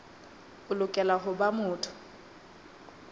o lokela ho ba motho